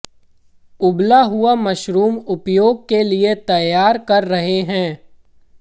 उबला हुआ मशरूम उपयोग के लिए तैयार कर रहे हैं